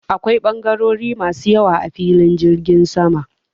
Akwai ɓangarori masu yawa a filin jirgin sama.